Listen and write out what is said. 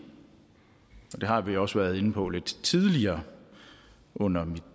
har vi også været inde på lidt tidligere under mit